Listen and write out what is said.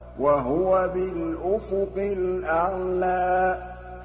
وَهُوَ بِالْأُفُقِ الْأَعْلَىٰ